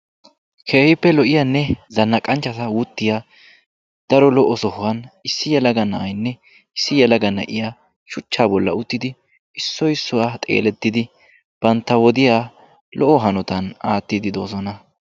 Keehippe lo'iyaanne zanaqanchchata wuttiyaa daro lo'o sohuwaan issi yelaga na'aynne issi yelaga na'iyaa shuchchaa bolli uttidi issoy issuwaa xeelettidi bantta wodiyaa lo'o hanotaan aattiidi doosona.